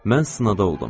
Mən sinada oldum.